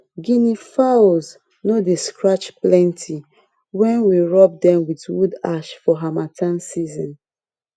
guinea fowls no dey scratch plenty when we rub dem with wood ash for harmattan season